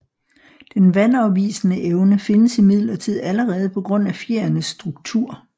Den vandafvisende evne findes imidlertid allerede på grund af fjerenes struktur